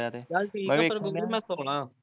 ਚੱਲ ਠੀਕ ਐ ਪਰਵਿੰਦਰ ਮੈਂ ਸੌਣਾ